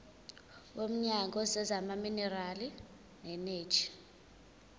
womnyango wezamaminerali neeneji